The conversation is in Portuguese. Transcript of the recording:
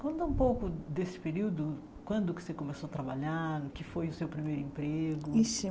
Conta um pouco desse período, quando que você começou a trabalhar, o que foi o seu primeiro emprego? Ixe